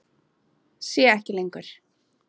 Sé ekki lengur.